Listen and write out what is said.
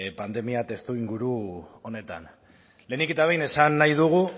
pandemia testuinguru honetan lehenik eta behin esan nahi dugu